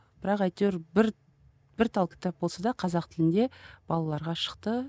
бірақ әйтеуір бір бір тал кітап болса да қазақ тілінде балаларға шықты